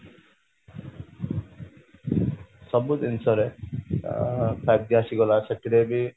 ସବୁ ଜିନିଷ ରେ ଆଁ five ଆସିଗଲା ସେପଟେ ବି